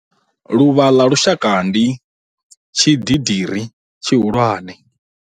Luvha ḽa lushaka ndi, tshididiri tshihulwane.